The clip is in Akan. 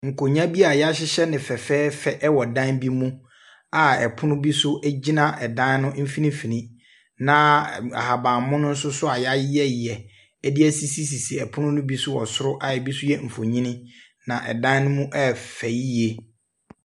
Nkonnwa bi a yɛahyehyɛ no fɛfɛɛfɛ wɔ dan bi mu a pono bi nso gyina dan ne mfimfini, na ahabanmono nso a yɛayeyɛyeyɛ de asisisisi pono ne bi so wɔ soro a bi nso yɛ mfonini. Na dan ne mu yɛ fɛ yie.